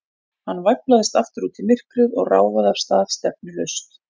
Hann væflaðist aftur út í myrkrið og ráfaði af stað, stefnulaust.